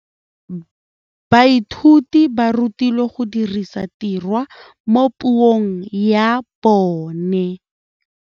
Baithuti ba rutilwe go dirisa tirwa mo puong ya bone.